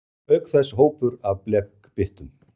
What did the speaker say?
Auk þess hópur af blekbyttum.